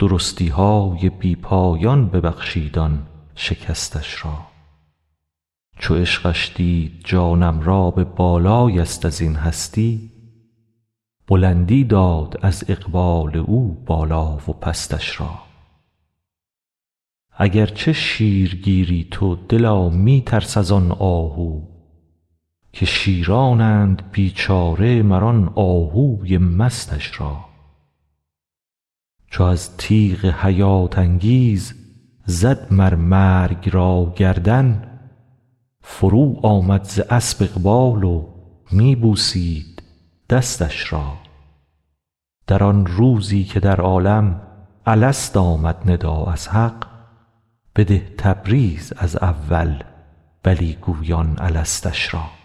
درستی های بی پایان ببخشید آن شکستش را چو عشقش دید جانم را به بالای یست از این هستی بلندی داد از اقبال او بالا و پستش را اگر چه شیرگیری تو دلا می ترس از آن آهو که شیرانند بیچاره مر آن آهوی مستش را چو از تیغ حیات انگیز زد مر مرگ را گردن فروآمد ز اسپ اقبال و می بوسید دستش را در آن روزی که در عالم الست آمد ندا از حق بده تبریز از اول بلی گویان الستش را